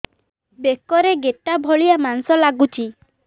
ବେକରେ ଗେଟା ଭଳିଆ ମାଂସ ଲାଗୁଚି